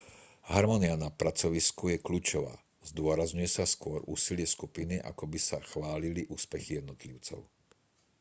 harmónia na pracovisku je kľúčová zdôrazňuje sa skôr úsilie skupiny ako by sa chválili úspechy jednotlivcov